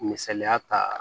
Misaliya ta